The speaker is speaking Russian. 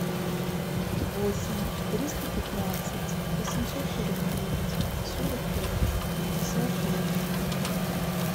восемь триста пятнадцать восемьсот сорок девять сорок пять пятьдесят пять